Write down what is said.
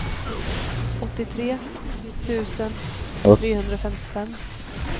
åttiotre tusen trehundrafemtiofem